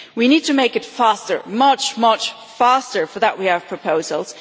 We need to make it faster, much, much faster, and for that we have proposals.